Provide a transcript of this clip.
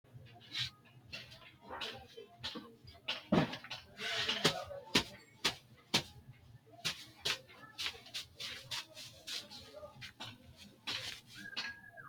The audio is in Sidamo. Kuni maala'lisanno kalaqamaati. Konne kalaqmanna qooxeessa la'nanni woyte lowontanni waagishanno. Leellanni moohu qole baattote giddonni iibbilunni ka'nohunni fulanno baattote giddo noo kalaqamu giiraati.